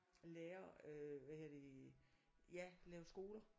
Lærer hvad hedder det ja lave skole